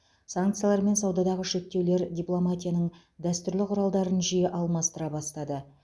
санкциялар мен саудадағы шектеулер дипломатияның дәстүрлі құралдарын жиі алмастыра бастады